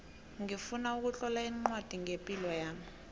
ngifuna ukutlola ncwadi ngepilo yami